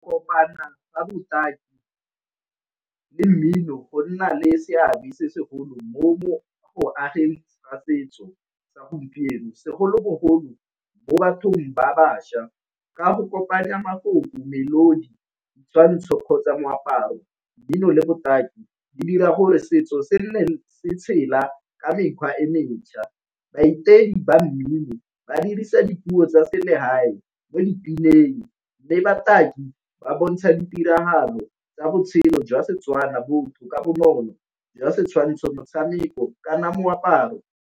Kopana ka botaki le mmino go nna le seabe se segolo mo go ageng setso sa gompieno segolobogolo bo bathong ba bašwa ka go kopanya mafoko, melodi, ditshwantsho kgotsa moaparo, dino le botaki di dira gore setso se nne se tshela ka mekgwa e mentjha. ba mmino ba dipuo tsa se legae mo dipineng le bataki ba bontsha ditiragalo tsa botshelo jwa Setswana, botho ka bonolo jwa setshwantsho, motshameko, kana moaparo.